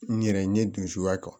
N yɛrɛ n ye dun suguya kɛ